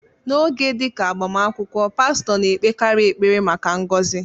N'oge dị ka agbamakwụkwọ, pastọ na-ekpekarị ekpere maka ngọzị.